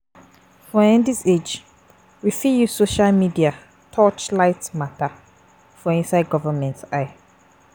For um this age, we fit use social media touch light matter for inside government eye